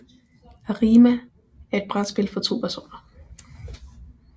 Arimaa er et brætspil for 2 personer